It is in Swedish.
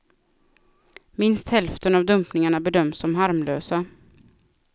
Minst hälften av dumpningarna bedöms som harmlösa.